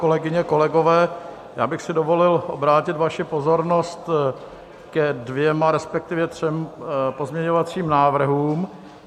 Kolegyně, kolegové, já bych si dovolil obrátit vaši pozornost ke dvěma, respektive třem pozměňovacím návrhům.